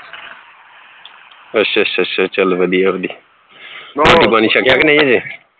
ਅੱਛਾ ਅੱਛਾ ਅੱਛਾ ਚੱਲ ਵਧੀਆ ਵਧੀਆ ਰੋਟੀ ਪਾਣੀ ਛਕਿਆ ਕੇ ਨਹੀਂ ਅਜੇ